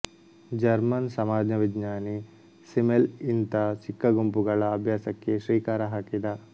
German ಸಮಾಜವಿಜ್ಞಾನಿ Simmel ಇಂಥ ಚಿಕ್ಕ ಗುಂಪುಗಳ ಅಭ್ಯಾಸಕ್ಕೆ ಶ್ರೀಕಾರ ಹಾಕಿದ